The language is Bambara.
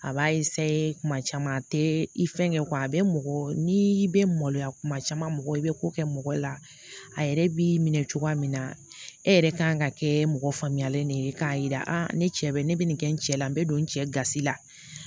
A b'a kuma caman a tɛ i fɛn kɛ a bɛ mɔgɔ n'i bɛ maloya kuma caman mɔgɔ i bɛ ko kɛ mɔgɔ la a yɛrɛ b'i minɛ cogoya min na e yɛrɛ kan ka kɛ mɔgɔ faamuyalen de ye k'a yira ne cɛ bɛ ne bɛ nin kɛ n cɛ la n bɛ don n cɛsiri la